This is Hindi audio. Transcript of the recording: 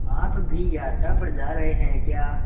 आप भी यात्रा पर जा रहे हैं क्या